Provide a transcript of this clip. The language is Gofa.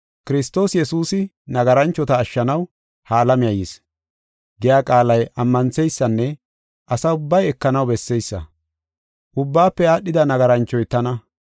“Kiristoos Yesuusi nagaranchota ashshanaw ha alamiya yis” giya qaalay ammantheysanne asa ubbay ekanaw besseysa. Ubbaafe aadhida nagaranchoy tana.